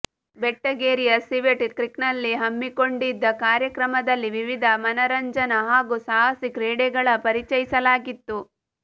ಬೆಟ್ಟಗೇರಿಯ civet ಕ್ರೀಕ್ನಲ್ಲಿ ಹಮ್ಮಿಕೊಂಡಿದ್ದ ಕಾರ್ಯಕ್ರಮದಲ್ಲಿ ವಿವಿಧ ಮನರಂಜನಾ ಹಾಗೂ ಸಾಹಸಿ ಕ್ರೀಡೆಗಳ ಪರಿಚಯಿಸಲಾಗಿತ್ತು